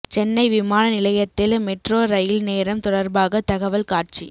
சென்னை விமான நிலையத்தில் metro rail நேரம் தொடா்பாக தகவல் காட்சி